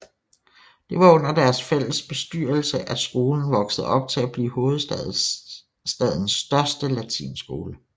Det var under deres fælles bestyrelse at skolen voksede op til at blive hovedstadens største latinskole